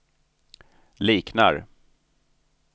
liknar